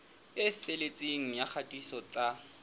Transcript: e felletseng ya kgatiso tsa